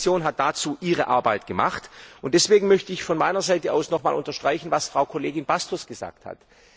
Die Kommission hat dazu ihre Arbeit gemacht, deswegen möchte ich von meiner Seite aus nochmals unterstreichen, was Frau Kollegin Bastos gesagt hat.